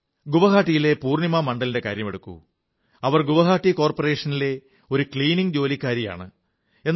ഗുവാഹതിയിലെ പൂർണ്ണിമാ മണ്ഡലിന്റെ കാര്യമെടുക്കൂ അവർ ഗുവാഹതി കോർപ്പറേഷനിലെ ഒരു ശുചീകരണ തൊഴിലാളിയാണ്